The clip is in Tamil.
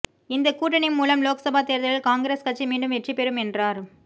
இந்த கூட்டணி மூலம் லோக்சபா தேர்தலில் காங்கிரஸ் கட்சி மீண்டும் வெற்றி பெறும் என்றார்